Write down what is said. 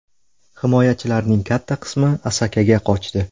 Himoyachilarning katta qismi Asakaga qochdi.